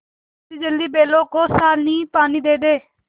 जल्दीजल्दी बैलों को सानीपानी दे दें